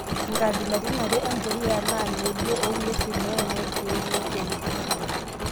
Nkabilaritin are empuliyaa naa modioo oong'wesin wenoorkiek le kemikali.